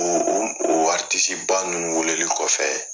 U u ba ninnu weleli kɔfɛ